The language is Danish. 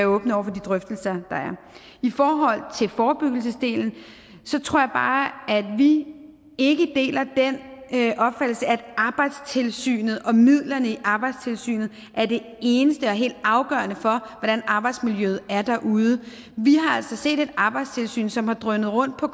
åbne over for de drøftelser der er i forhold til forebyggelsesdelen tror jeg bare at vi ikke deler den opfattelse at arbejdstilsynet og midlerne i arbejdstilsynet er det eneste og helt afgørende for hvordan arbejdsmiljøet er derude vi har altså set et arbejdstilsyn som har drønet rundt på